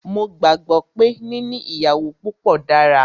Mó gbàgbé pé níní ìyàwó púpọ dára.